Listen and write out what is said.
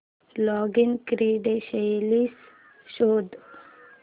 login credentials शोध